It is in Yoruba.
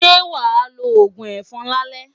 Ṣé wàá lo òògùn ẹ̀fọn lálẹ́?